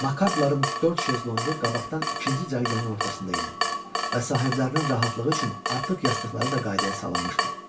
Makartların dörd şezlonqu qabaqdan ikinci cərgənin ortasında idi və sahiblərinin rahatlığı üçün artıq yastıqları da qaydaya salınmışdı.